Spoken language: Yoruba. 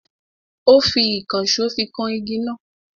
Ó fi ìkànsó fi kan igi náà.